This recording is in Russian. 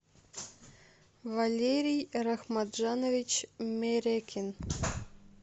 валерий рахматжанович мерекин